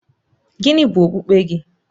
Gịnị bụ okpukpe gị?